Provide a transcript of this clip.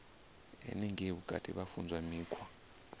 henengei vhutukani vha funzwa mikhwa